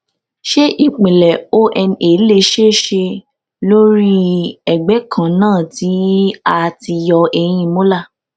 ṣé ìpìlẹ̀ ona le ṣeé ṣe lórí ẹ̀gbẹ́ kan náà tí a ti yọ eyín molar